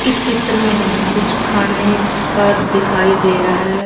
इस चित्र में हमें कुछ खाने का दिखाई दे रहा हैं।